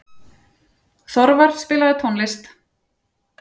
Þorvar, spilaðu tónlist.